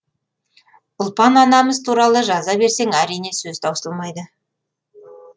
ұлпан анамыз туралы жаза берсең әрине сөз таусылмайды